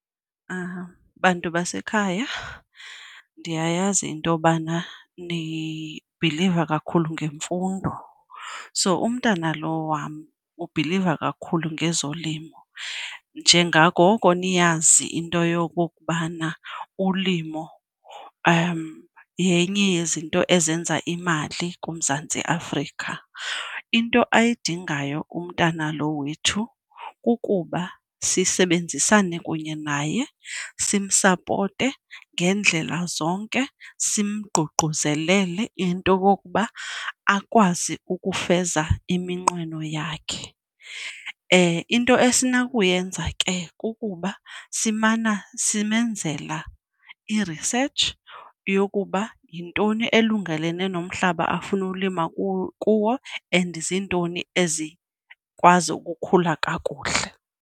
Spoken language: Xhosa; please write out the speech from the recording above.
Bantu basekhaya ndiyayazi into yobana nibhiliva kakhulu ngemfundo, so umntana lo wam ubhiliva kakhulu ngezolimo. Njengangoko niyazi into yokokubana ulimo yenye yezinto ezenza imali kuMzantsi Afrika, into ayidingayo umntana lo wethu kukuba sisebenzisane kunye naye, simsapote ngendlela zonke, simgqugquzelele into okokuba akwazi ukufeza iminqweno yakhe. Into esinokuyenza ke kukuba simana simenzela i-research yokuba yintoni elungelene nomhlaba afune ukulima kuwo and zintoni ezikwazi ukukhula kakuhle.